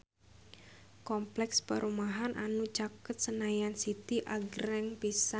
Kompleks perumahan anu caket Senayan City agreng pisan